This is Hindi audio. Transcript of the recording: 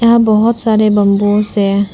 यहां बहुत सारे बम्बूस हैं।